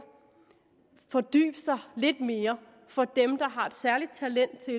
fordybe sig lidt mere for dem der har et særligt talent til